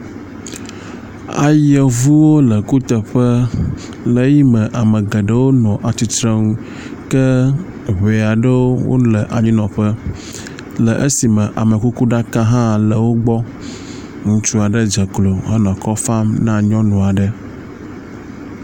Ayevuwo le kuteƒe le eyi me ame geɖewo nɔ atsitrenu ke ŋe aɖewo le anyinɔƒe le eyime amekukuɖaka hã le wo gbɔ. Ŋutsu aɖe dze klo henɔ akɔ fam na nyɔnu aɖe.